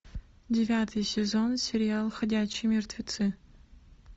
девятый сезон сериал ходячие мертвецы